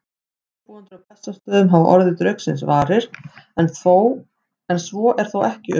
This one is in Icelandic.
Ábúendur á Bessastöðum hafa orðið draugsins varir, en svo er þó ekki um